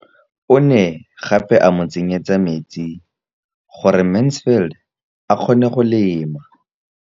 O ne gape a mo tsenyetsa metsi gore Mansfield a kgone go lema.